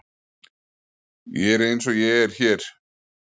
Ég er eins og ég er hér.